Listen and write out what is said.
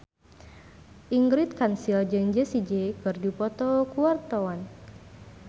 Ingrid Kansil jeung Jessie J keur dipoto ku wartawan